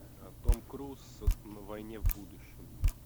том круз на войне в будущем